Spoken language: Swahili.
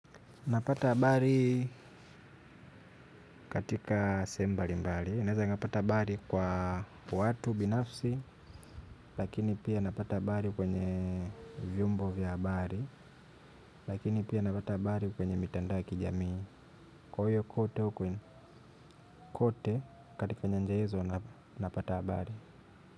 Napata abari katika sehemu mbali mbali. Ninaeza napata abari kwa watu binafsi, lakini pia napata abari kwenye vyombo vya abari, lakini pia napata abari kwenye mitandao ya kijamii. Kwa hiyo kote kwenye kote katika nyanja hizo napata abari.